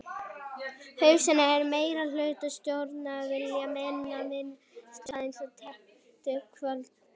Hugsanlegt er að meirihluti stjórnar vilji meina minnihlutanum aðgang að tilteknum skjölum.